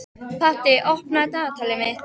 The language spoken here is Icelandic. Patti, opnaðu dagatalið mitt.